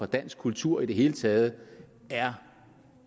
dansk kultur i det hele taget er